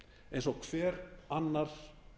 eins og hver annar